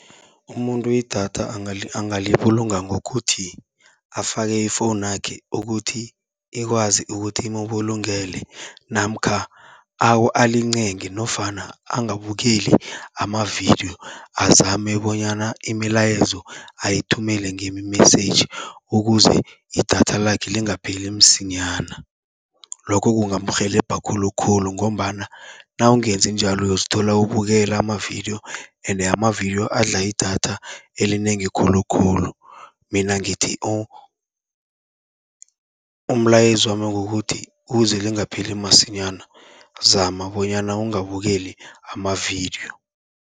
Umuntu idatha angalibulunga ngokuthi afake ifowunakhe ukuthi, ikwazi ukuthi imubulungele namkha alincenge nofana angabukeli amavidiyo. Azame bonyana imilayezo ayithumele ngemi-message, ukuze idatha lakhe lingapheli msinyana. Lokho kungamrhelebha khulukhulu ngombana nawungenzi njalo, uyozithola ubukela amavidiyo ende amavidiyo adla idatha elinengi khulukhulu. Mina ngithi umlayezo wami kukuthi ukuze lingapheli masinyana, zama bonyana ungabukeli amavidiyo.